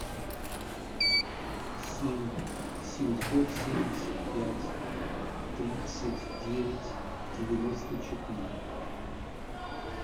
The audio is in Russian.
семь семьсот семьдесят пять тридцать девять девяносто четыре